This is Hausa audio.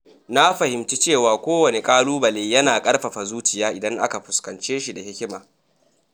Na fahimci cewa kowanne ƙalubale yana ƙarfafa zuciya idan aka fuskance shi da hikima.